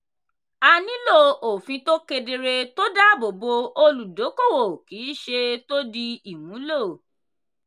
a nílò òfin tó kedere tó dáàbò bo olùdókòwò kì í ṣe tó dí ìmúlò.